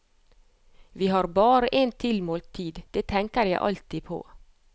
Vi har bare en tilmålt tid, det tenker jeg alltid på.